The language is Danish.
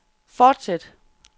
fortsæt